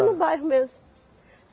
No bairro mesmo.